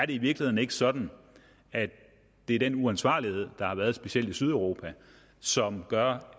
i virkeligheden ikke sådan at det er den uansvarlighed der har været udvist specielt af sydeuropa som gør